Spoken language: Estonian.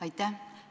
Aitäh!